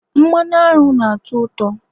mmanụ aṅụ na ụtọ uto